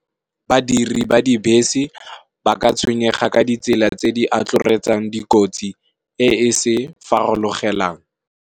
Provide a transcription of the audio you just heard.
Badiri ba dibese ba ka tshwenyega ka ditsela tse di atloretsang dikotsi eseng se farologelang.